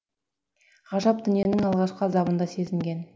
ғажап дүниенің алғашқы азабын да сезінген